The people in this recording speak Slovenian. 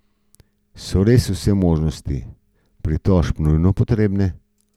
So res vse možnosti pritožb nujno potrebne?